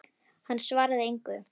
Hann svaraði engu.